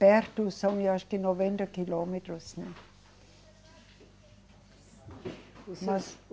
Perto são eu acho que noventa quilômetros, assim.